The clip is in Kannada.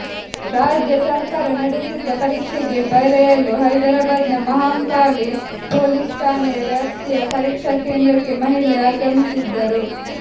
ರಾಜ್ಯ ಸರ್ಕಾರ ನಡೆಸಿದ್ದ ಪರೀಕ್ಷೆಗೆ ಬರೆಯಲು ಹೈದರಾಬಾದ್ನ ಮಹಾಂಕಾಳಿ ಪೊಲೀಸ್ ಠಾಣೆಯ ವ್ಯಾಪ್ತಿಯ ಪರೀಕ್ಷಾ ಕೇಂದ್ರಕ್ಕೆ ಮಹಿಳೆ ಆಗಮಿಸಿದ್ದರು